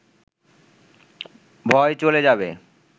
ভয় চলে যাবে